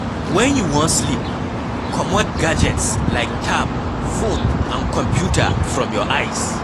When you wan sleep, comot gadgets like tab, phone and computer from your eyes